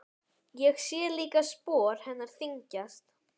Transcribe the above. Sé líka að spor hennar þyngjast.